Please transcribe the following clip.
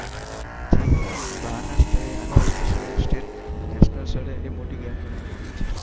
પરંતુ તે બહારના સ્તરે આંતરરાષ્ટ્રીય સ્તરે એક મોટી ગેમ ગણવામાં આવે છે.